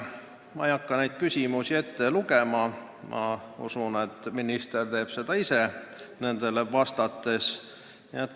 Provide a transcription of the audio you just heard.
Ma ei hakka küsimusi ette lugema, ma usun, et minister teeb seda ise nendele vastates.